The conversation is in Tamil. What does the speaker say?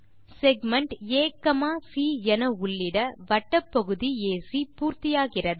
செக்மென்ட் AC என உள்ளிட வட்டப் பகுதி ஏசி பூர்த்தியாகிறது